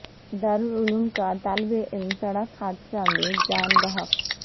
دارالعلوم کا طالب علم سڑک حادثہ میں جاں بحق